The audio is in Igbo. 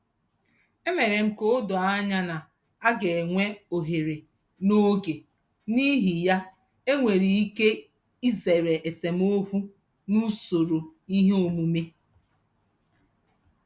E mere m ka o doo anya na aga enwe ohere n'oge n'ihi ya e nwere ike izere esemokwu n'usoro ihe omume.